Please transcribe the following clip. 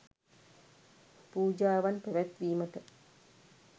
පූජාවන් පැවැත්වීමට